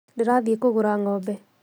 Ndĩrathiĩ kũgũra ng'ombe